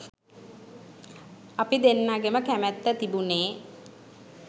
අපි දෙන්නගෙම කැමැත්ත තිබුණේ